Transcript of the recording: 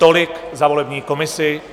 Tolik za volební komisi.